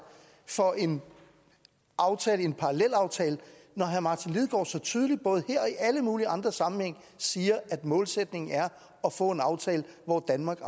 for en en parallelaftale når herre martin lidegaard så tydeligt både her og i alle mulige andre sammenhænge siger at målsætningen er at få en aftale hvor danmark